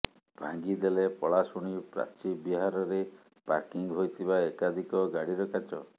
ଭାଙ୍ଗି ଦେଲେ ପଳାସୁଣୀ ପ୍ରାଚୀବିହାରରେ ପାର୍କିଂ ହୋଇଥିବା ଏକାଧିକ ଗାଡିର କାଚ